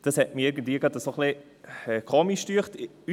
Ich fand es gerade irgendwie merkwürdig.